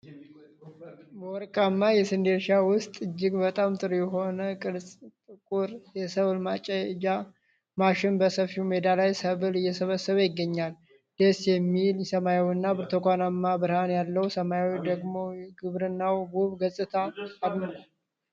በወርቃማ የስንዴ እርሻ ውስጥ እጅግ በጣም ጥሩ የሆነ ቀይና ጥቁር የሰብል ማጨጃ ማሽን በሰፊው ሜዳ ላይ ሰብል እየሰበሰበ ይገኛል። ደስ የሚል ሰማያዊና የብርቱካናማ ብርሃን ያለው ሰማይ ደግሞ የግብርናውን ውብ ገጽታ አድምቆታል።